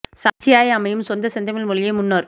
சாட்சியாய் அமையுஞ் சொந்தச் செந்தமிழ் மொழியே முன்னோர்